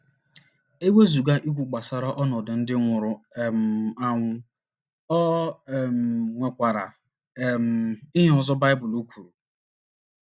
E wezụga ikwu gbasara ọnọdụ ndị nwụrụ um anwụ, o um nwekwara um ihe ọzọ Baịbụl kwuru.